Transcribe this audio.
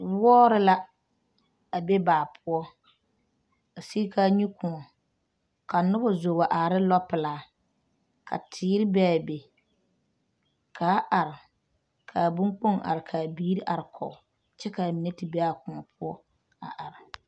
Wɔɔre la a be baa poɔ a siɡi ka a nyu kõɔ ka noba zo wa are ne lɔpelaa ka teere be a be ka a are ka a boŋkpoŋ are ka a biiri arekɔɡe kyɛ ka a mine te be a kõɔ poɔ .